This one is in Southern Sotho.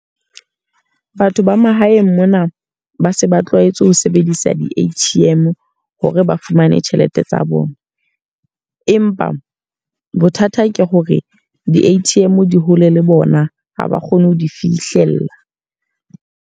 Batho ba mahaeng mona ba se ba tlwaetse ho sebedisa di-A_T_M hore ba fumane tjhelete tsa bona. Empa bothata ke hore di-A_T_M di hole le bona. Ha ba kgone ho di fihlella.